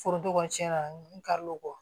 Foronto kɔni cɛn na n ka